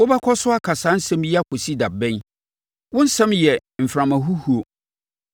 “Wobɛkɔ so aka saa nsɛm yi akɔsi da bɛn? Wo nsɛm yɛ mframa huhuo.